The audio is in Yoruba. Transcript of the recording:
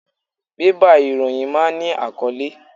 Bébà ìròyìn máa ń ní àkọ́lé.